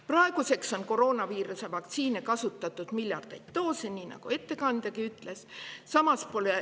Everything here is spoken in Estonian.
Praeguseks on koroonaviiruse vaktsiine kasutatud miljardeid doose, nii nagu ettekandjagi ütles.